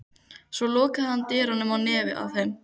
Svo lokaði hann dyrunum á nefið á þeim.